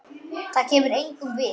Það kemur engum við.